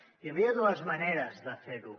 hi havia dues maneres de fer ho